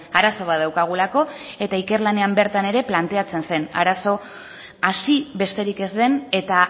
arazo bat daukagulako eta ikerlanean bertan ere planteatzen zen arazo hasi besterik ez den eta